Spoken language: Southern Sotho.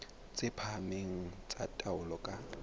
tse phahameng tsa taolo ka